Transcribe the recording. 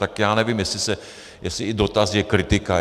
Tak já nevím, jestli i dotaz je kritika.